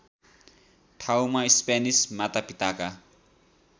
ठाउँमा स्पेनिस मातापिताका